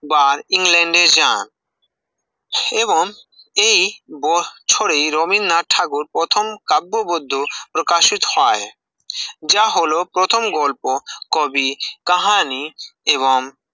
ব england এ যান এবং এই বছরে রবীন্দ্রনাথ ঠাকুর প্রথম কাব্যগ্রন্থ প্রকাশিত হয় যা হল প্রথম গল্প কবি কাহানি এবং